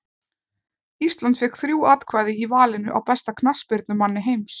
Ísland fékk þrjú atkvæði í valinu á besta knattspyrnumanni heims.